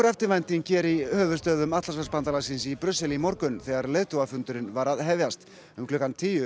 eftirvænting hér í höfuðstöðvum Atlantshafsbandalagsins í í morgun þegar leiðtogafundurinn var að hefjast um klukkan tíu